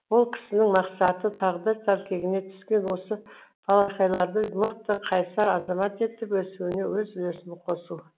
ол кісінің мақсаты тағдыр тәлкегіне түскен осы балақайларды мықты қайсар азамат етіп өсуіне өз үлесін қосу